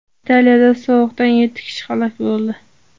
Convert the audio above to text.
Italiyada sovuqdan yetti kishi halok bo‘ldi.